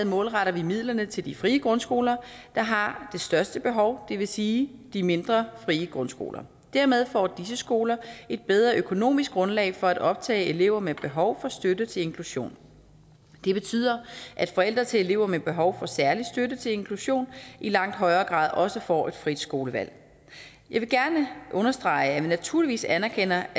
målretter vi midlerne til de frie grundskoler der har det største behov det vil sige de mindre frie grundskoler dermed får disse skoler et bedre økonomisk grundlag for at optage elever med behov for støtte til inklusion det betyder at forældre til elever med behov for særlig støtte til inklusion i langt højere grad også får et frit skolevalg jeg vil gerne understrege at vi naturligvis anerkender